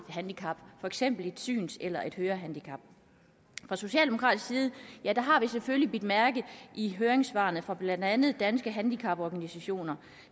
handicap for eksempel et syns eller hørehandicap fra socialdemokratisk side har vi selvfølgelig bidt mærke i høringssvarene fra blandt andet danske handicaporganisationer